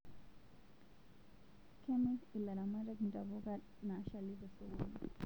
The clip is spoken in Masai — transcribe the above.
Kemir alaramatak ntapuka nashali tesokoni